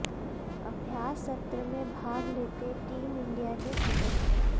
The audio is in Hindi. अभ्यास सत्र में भाग लेते टीम इंडिया के सदस्य